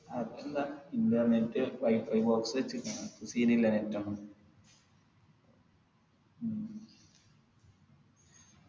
അതിപ്പൊന്താ internetWIFIbox വെച്ച്ക്ക് അപ്പൊ scene ഇല്ല net ഒന്നും ഉം